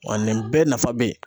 Wa nin bɛɛ nafa be yen.